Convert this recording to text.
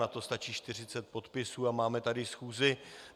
Na to stačí 40 podpisů a máme tady schůzi.